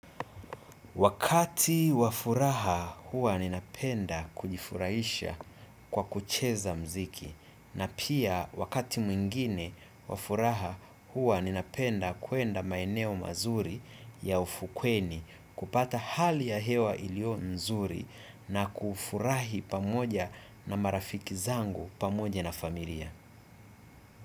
Wakati wa furaha huwa ninapenda kujifurahisha kwa kucheza mziki na pia wakati mwingine wafuraha huwa ninapenda kwenda maeneo mazuri ya ufukweni kupata hali ya hewa ilio nzuri na kufurahi pamoja na marafiki zangu pamoja na familia.